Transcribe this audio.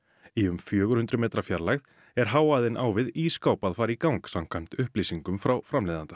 í um fjögur hundruð metra fjarlægð er hávaðinn á við ísskáp að fara í gang samkvæmt upplýsingum frá framleiðanda